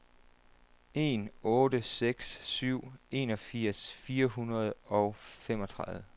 en otte seks syv enogfirs fire hundrede og femogtredive